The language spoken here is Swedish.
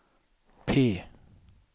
P